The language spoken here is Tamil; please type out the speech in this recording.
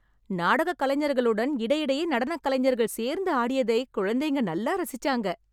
நாடகக் கலைஞர்களுடன் இடையிடையே நடனக் கலைஞர்கள் சேர்ந்து ஆடியதை குழந்தைங்க நல்லா ரசிச்சாங்க.